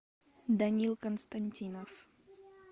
данил константинов